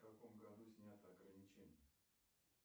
в каком году сняты ограничения